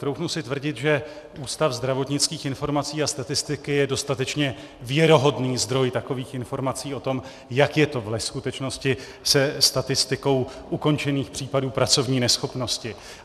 Troufnu si tvrdit, že Ústav zdravotnických informací a statistiky je dostatečně věrohodný zdroj takových informací o tom, jak je to ve skutečnosti se statistikou ukončených případů pracovní neschopnosti.